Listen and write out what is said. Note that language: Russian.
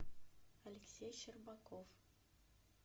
алексей щербаков